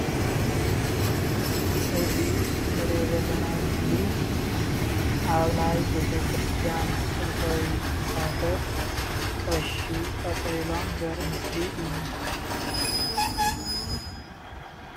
እዚ እንሪኦ ዘለና ምስሊ አብ ናይ ቤተክርስቲያን መእተዊ ይፋ ስብ ቀሽ ጠቅሊሎም ዘሪኢ ምሲሊ እዩ፡፡